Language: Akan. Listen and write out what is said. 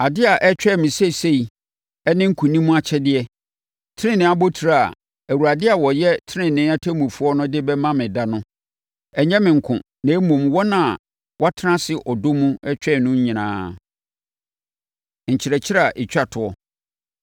Adeɛ a ɛretwɛn me seesei ne nkonim akyɛdeɛ, tenenee abotire a Awurade a ɔyɛ tenenee ɔtemmufoɔ no de bɛma me da no. Ɛnyɛ me nko, na mmom, wɔn a wɔtena ase ɔdɔ mu twɛn no no nyinaa. Nkyerɛkyerɛ A Ɛtwa Toɔ